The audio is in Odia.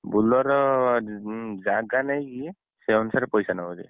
Bolero ଜାଗା ନେଇକି ସେଇ ଅନୁସାରେ ପଇସା ନବ